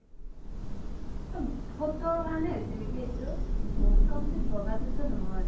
photo কাৰনে গৈছে নেকি complete বগা তো নহয়